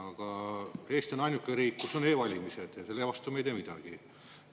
Aga Eesti on ainuke riik, kus on e-valimised, ja selle vastu me ei tee mitte midagi.